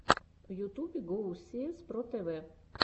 в ютубе гоусиэс про тэвэ